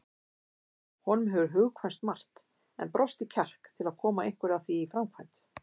Honum hefur hugkvæmst margt en brostið kjark til að koma einhverju af því í framkvæmd.